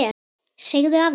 Segðu af þér!